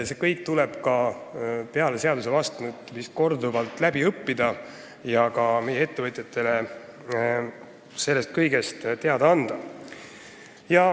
See kõik tuleb peale seaduse vastuvõtmist korduvalt õppustel selgeks teha ja ka meie ettevõtjatele sellest kõigest teada anda.